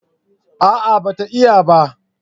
A'a ba ta iya ba